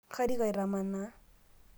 karik aitamanaa